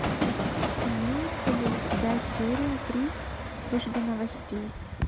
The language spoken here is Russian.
имеется ли у тебя серия три службы новостей